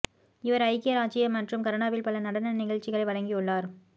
இவர் ஐக்கிய ராச்சியம் மற்றும் கனடாவில் பல நடன நிகழ்ச்சிகளை வழங்கியுள்ளார்